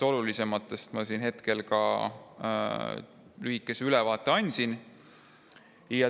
Olulisematest ma lühikese ülevaate juba andsin.